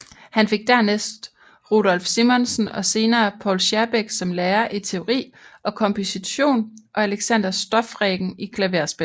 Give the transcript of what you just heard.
Han fik dernæst Rudolph Simonsen og senere Poul Schierbeck som lærer i teori og komposition og Alexander Stoffregen i klaverspil